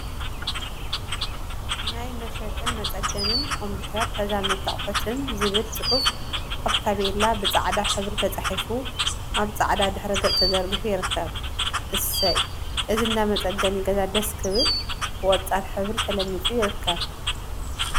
ናይ መሸጥን መፀገንን ኮምፒተር ተዛመድቲ አቁሑትን ዝብል ፅሑፍ አብ ታፔላ ብፃዕዳ ሕብሪ ተፃሒፉ አብ ፃዕዳ ድሕረ ገፅ ተዘርጊሑ ይርከብ፡፡ እሰይ! እዚ እንዳ መፀገኒ ገዛ ደስ ክብል ብቆፃል ሕብሪ ተለሚፁ ይርከብ፡፡